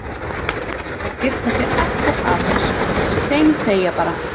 Það var best að skipta sér ekkert af þessu, steinþegja bara.